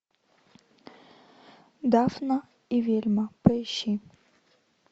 дафна и велма поищи